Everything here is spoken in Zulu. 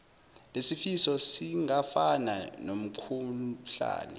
lesifo singafana nomkhuhlane